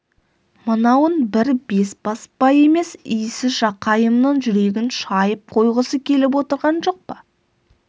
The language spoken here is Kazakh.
мынауың бір бесбасбай емес иісі жақайымның жүрегін шайып қойғысы келіп отырған жоқ па